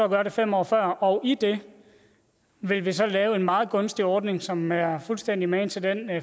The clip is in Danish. gøre det fem år før og i det vil vi så lave en meget gunstig ordning som er fuldstændig magen til den